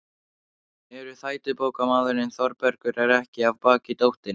En þrætubókarmaðurinn Þórbergur er ekki af baki dottinn.